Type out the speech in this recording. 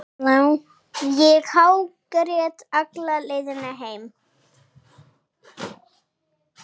Ég hágrét alla leiðina heim.